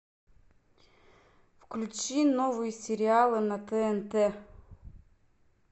включи новые сериалы на тнт